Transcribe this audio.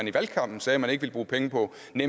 vi